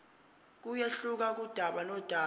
kuyehluka kudaba nodaba